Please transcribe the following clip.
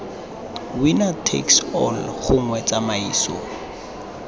winner takes all gongwe tsamaiso